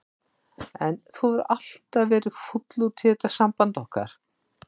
En þú hefur alltaf verið fúll út í þetta samband okkar.